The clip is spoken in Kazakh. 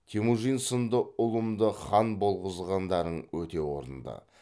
темужин сынды ұлымды хан болғызғандарың өте орынды